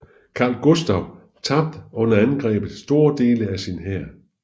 Karl Gustav tabte under angrebet store dele af sin hær